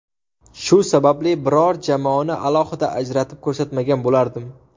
Shu sababli biror jamoani alohida ajratib ko‘rsatmagan bo‘lardim.